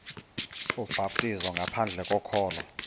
ubhaptizo ngaphandle kokholo